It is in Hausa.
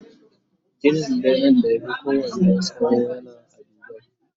Ginin benen da ya Fi kowanne tsawo yana a Dubai